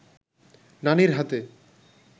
নানির হাতে